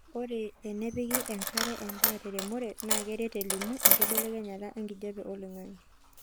ore enepiki enkare endaa te remore naa keret elimu ekibelekenya enkijape oloingange